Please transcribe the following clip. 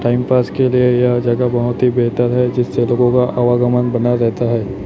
Time pass के लिए ये जगह बहोत ही बेहतर है जिससे लोगों का आवागमन बना जाता है।